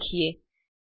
વિષે શીખીએ